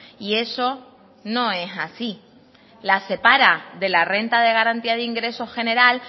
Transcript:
y eso no es así las separa de la renta de garantía de ingreso general